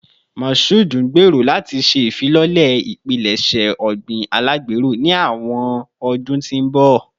Mashood ngbero lati ṣe ifilọlẹ ipilẹṣẹ ogbin alagbero ni awọn ọdun ti n bọ